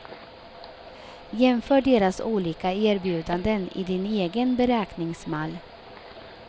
Jämför deras olika erbjudanden i din egen beräkningsmall.